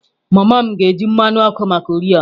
Mama m ga-eji mmanụ ọkụ maka oriọna.